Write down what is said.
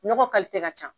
Nɔgɔ ka ca